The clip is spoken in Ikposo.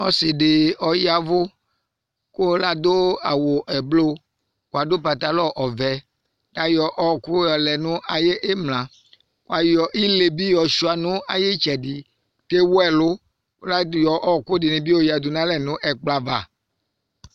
Ɔsidi ɔyavu ku ladu awu ɛblɔr nu patalɔ ɔvɛ kuayɔ ɔwɔku yɔlɛ nu ayu imla kuayɔ ile bi yɔsua nu ayitsɛdi kuewu ɛlu kuayɔ ɔwɔku dini bi yɔyadu nu ɛkplɔ ava